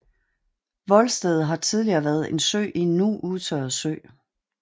Voldstedet har tidligere været en ø i en nu udtørret sø